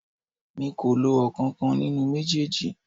Mi kì í lo ọ̀kankan nínú méjèèjì